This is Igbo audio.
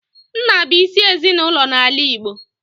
Nna bụ isi ezinaụlọ n'ala Igbo.